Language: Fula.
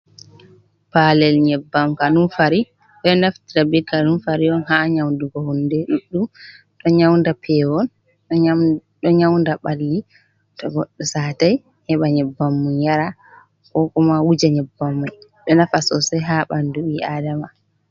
Paalel nyebbam kanunfari, ɓe naftira ɓe kanunfari on ha nyaudugo hunde ɗuɗɗum, ɗo nyauda pewol ɗo nyaunda ɓalli to goɗɗo satai heɓa nyebbam mai yara, ko kuma wuja nyebbam mai ɗo nafa sosai ha ɓandu ɓi aadama.